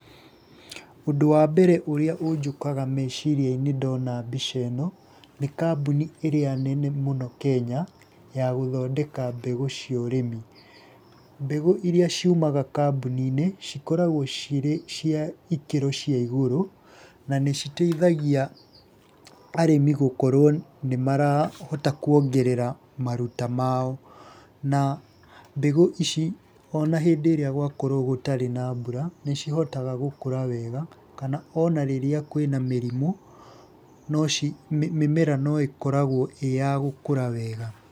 Ũndũ wa mbere ũrĩa ũnjũkaga meciria-inĩ ndona mbica ĩno, nĩ kambuni ĩrĩa nene mũno Kenya ya gũthondeka mbegũ cia ũrĩmi. Mbegũ iria ciumaga kambuni-inĩ, cikoragwo cirĩ cia ikĩro cia igũrũ, na nĩ citeithagia arĩmi gũkorwo nĩ marahota kuongerera maruta mao. Na mbegũ ici ona hĩndĩ ĩrĩa gwakorwo gũtarĩ na mbũra, nĩ cihotaga gũkũra wega, kana ona rĩrĩa kwina mĩrimũ, mĩmera no ĩkoragwo ĩ ya gũkũra wega.